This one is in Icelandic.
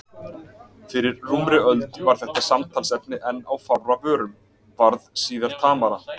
Fyrir rúmri hálfri öld var þetta samtalsefni enn á fárra vörum, varð síðar tamara.